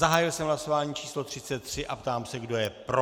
Zahájil jsem hlasování číslo 33 a ptám se, kdo je pro.